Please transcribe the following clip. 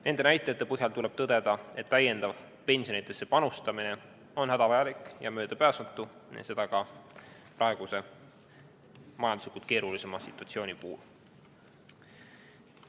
Nende näitajate põhjal tuleb tõdeda, et täiendav pensionidesse panustamine on hädavajalik ja möödapääsmatu, seda ka praeguse majanduslikult keerulise situatsiooni puhul.